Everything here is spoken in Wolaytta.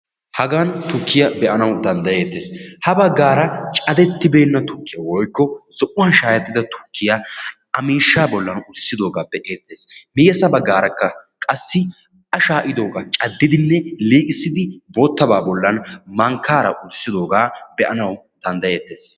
hagan tukkiya be'anaw danddayettees. ha bagaara caddetibeena tukkiya woykko zo'uwan shaayettida tukkiyaa a miishsha bollan uttisidooga be'anaw danddayyees. miyyessa baggaarakka qassi sha'idooga caddidinne liiqissidi mankkaara uttisidooga be'anaw danddayeettees.